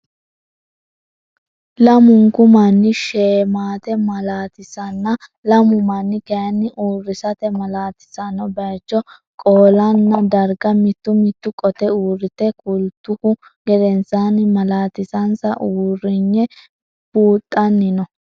Lamunku manni sheemate malaatisanna lamu manni kayinni uurrisate malaatisanno bayicho, qoolanna darga mittu mittu qote uurrite kultuhu gedensaanni malaatisansa uurriye buuxanni no